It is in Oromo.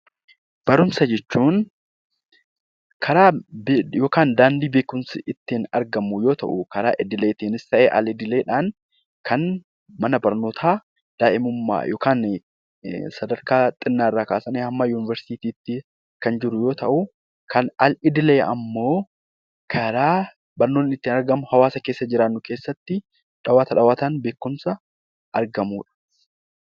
Barumsa jechuun karaa yookiin daandii beekumsi ittiin argamu yoo ta'u, karaa idileetiinis ta'e al idileedhaan kan mana barnootaa daa'imummaa yookaan sadarkaa xinnaarraa kaasanii hamma Yuuniversitiitti kan jiru yoo ta'u, kan al idilee immoo karaa barnoonni itti argamu hawaasa keessa jiraannu keessatti dhawwaata dhawwaataan beekumsa argamudha.